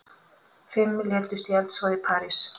Fimm létust í eldsvoða í París